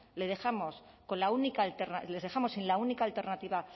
les dejamos sin la única alternativa